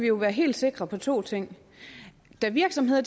jo være helt sikre på to ting da virksomheder